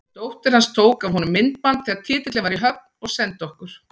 Dóttir hans tók af honum myndband þegar titillinn var í höfn og sendi okkur.